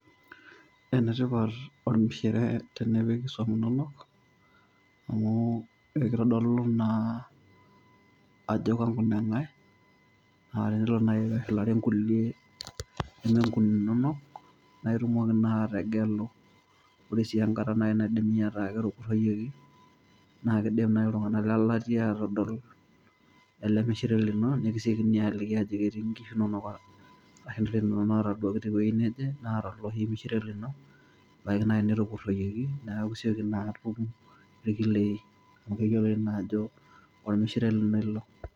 Enetipat ormishire tenipik isuam inonok, amu ekitodolu naa ajo kanguneng'ae, na tenelo nai peshulare nkulie nemenguninonok, na itumoki naa ategelu. Ore si enkata nai naidimi ataa ketupurroyieki, na kidim nai iltung'anak lelatia atodol ele mishire lino, nikisekini aliki ajoki etii nkishu nonok, ashu nkulie inonok nataduaki tewuei neje, naata oloshi mishire lino. Ebaiki nai netupurroyieki, neeku sioki naa atum irkilei, amu eyioloi naajo ormishire lino ilo.